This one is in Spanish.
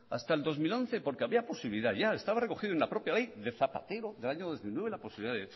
hasta el dos mil once porque había posibilidad ya estaba recogido en la propia ley de zapatero del año dos mil nueve la posibilidad